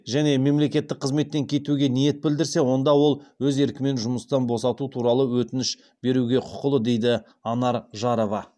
және мемлекеттік қызметтен кетуге ниет білдірсе онда ол өз еркімен жұмыстан босату туралы өтініш беруге құқылы дейді анар жарова